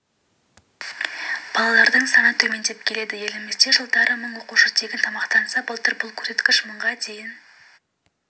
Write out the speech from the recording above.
балалардың саны төмендеп келеді елімізде жылдары мың оқушы тегін тамақтанса былтыр бұл көрсеткіш мыңға дейін